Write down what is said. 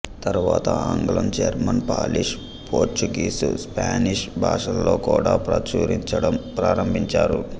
తరువాత ఆంగ్లం German Polish Portuguese Spanish భాషలలో కూడా ప్రచురించడం ప్రారంభించారు